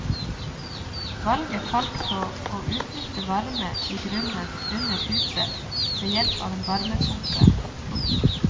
Valget falt på å utnytte varme i grunnen under huset ved hjelp av en varmepumpe. punktum